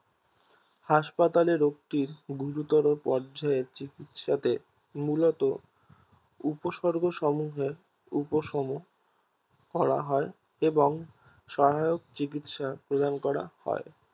হাসপাতালে রোগটির গুরুতর পর্যায়ে চিকিৎসাতে মূল উপসর্গ মুহের উপম করা হয় এবং সহায়ক চিকিৎসা প্রদান করা হয়